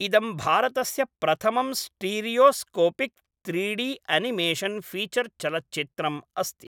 इदं भारतस्य प्रथमं स्टीरियोस्कोपिक् त्रीडी अनिमेशन् फ़ीचर् चलच्चित्रम् अस्ति।